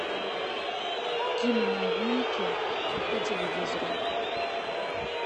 киноновинки по телевизору